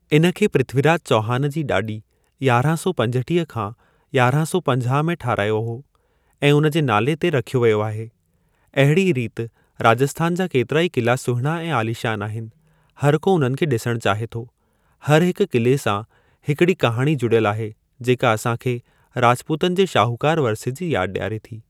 इन खे, पृथ्वी राज चौहान जी ॾाॾी, यारहां सौ पंजटीह खा यारहां सौ पंजाह में ठहिरायो हो ऐं उन जे नाले ते रखियो वियो आहे। अहिड़ीअ रीति राजस्थान जा केतिरा ई क़िला सुहिणा ऐं आलीशान आहिनि। हर को उन्हनि खे डि॒सणु चाहे थो। हर हिक क़िले सां हिकिड़ी कहाणी जुड़ियल आहे जेका असांखे राजपूतनि जे शाहूकार वरिसे जी याद डि॒यारे थी।